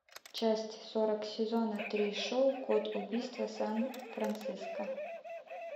часть сорок сезона три шоу код убийства сан франциско